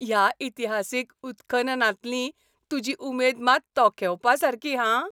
ह्या इतिहासीक उत्खननांतली तुजी उमेद मात तोखेवपासारकी, हां.